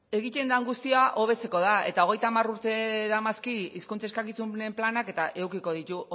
egiten dan guztia hobetzeko da hogeita hamar urte daramazki hizkuntza eskakizunen planak eta edukiko du